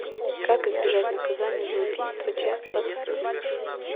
как избежать наказания за убийство часть двадцать семь